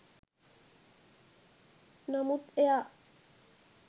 නමුත් එයා